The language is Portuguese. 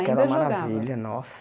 Ainda jogavam era uma maravilha, nossa!